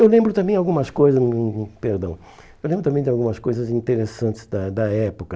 eu lembro também algumas coisas perdão. Eu lembro também de algumas coisas interessantes da da época.